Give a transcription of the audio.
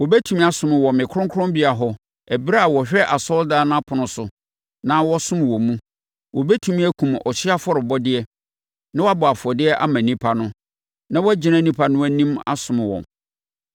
Wɔbɛtumi asom wɔ me kronkronbea hɔ ɛberɛ a wɔhwɛ asɔredan no apono so na wɔsom wɔ mu; wɔbɛtumi akum ɔhyeɛ afɔrebɔdeɛ na wɔabɔ afɔdeɛ ama nnipa no, na wɔagyina nnipa no anim asom wɔn.